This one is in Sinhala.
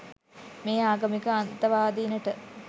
මේ ආගමික අන්තවාදීනට